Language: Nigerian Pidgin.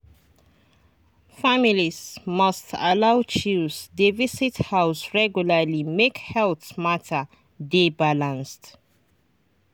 families must allow chws dey visit house regularly make health matter dey balanced.